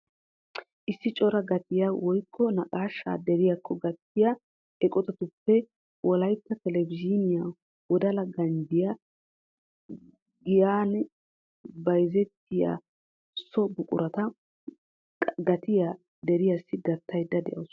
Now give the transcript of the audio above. Issi coraa gattiyaa woykko naqaashshaa deriyaakko gaattiyaa eqotatuppe wollaytta telebizhiniyaa wodala ganjjiyaa giyaan bayzzettiyaa soo buquratu gatiyaa deriyaasi gaattayda de'awus.